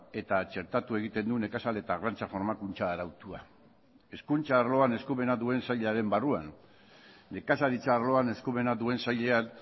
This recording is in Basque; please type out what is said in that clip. eta txertatu egiten du nekazal eta arrantza formakuntza arautua hezkuntza arloan eskumena duen sailaren barruan nekazaritza arloan eskumena duen sailean